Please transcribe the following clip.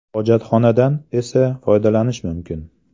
Hojatxonadan esa foydalanish mumkin.